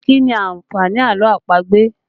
Kí ni àǹfààní àlọ́ àpagbè?